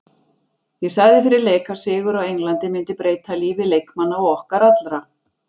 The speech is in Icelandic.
Ég sagði fyrir leik að sigur á Englandi myndi breyta lífi leikmanna og okkar allra.